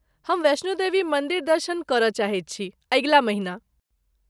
हम वैष्णो देवी मन्दिर दर्शन करय चाहैत छी, अगिला महिना।